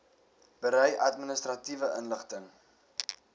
berei administratiewe inligting